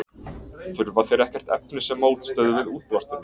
Þurfa þeir ekkert efni sem mótstöðu við útblásturinn?